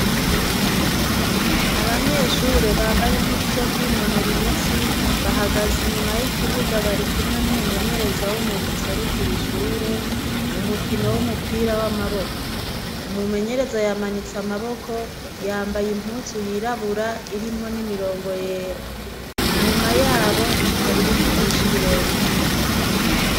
Abanyeshure bambaye impuzu zo kwinonora imitsi bahagaza inyuma y'ikibuga bari kumwe n'umumenyereza w'umuga userukira ishure mu mukino w'umupira w'amaboko umumenyereza yamanitse amaboko yambaye impuzu yirabura irimwo n'imirongo yera inyumaya yabo hari ibiti vyinshi birebire.